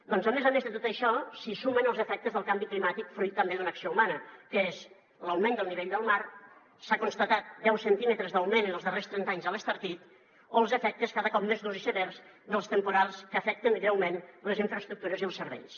doncs a més a més de tot això s’hi sumen els efectes del canvi climàtic fruit també d’una acció humana que és l’augment del nivell del mar s’han constatat deu centímetres d’augment en els darrers trenta anys a l’estartit o els efectes cada cop més durs i severs dels temporals que afecten greument les infraestructures i els serveis